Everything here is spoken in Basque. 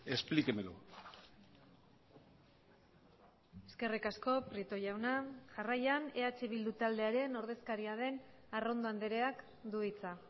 explíquemelo eskerrik asko prieto jauna jarraian eh bildu taldearen ordezkaria den arrondo andreak du hitza